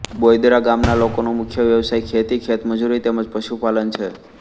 બોઇદરા ગામના લોકોનો મુખ્ય વ્યવસાય ખેતી ખેતમજૂરી તેમ જ પશુપાલન છે